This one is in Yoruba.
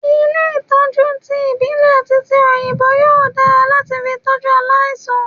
Ilé Ìtọ́jú ti ìbílè àti ti òyìnbó yóò dára láti fi tọ́jú aláìsàn.